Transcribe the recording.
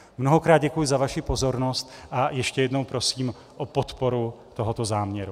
Mnohokrát děkuji za vaši pozornost a ještě jednou prosím o podporu tohoto záměru.